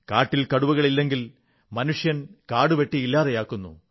കാട്ടിൽ കടുവകളില്ലെങ്കിൽ മനുഷ്യൻ കാടുവെട്ടി ഇല്ലാതെയാക്കുന്നു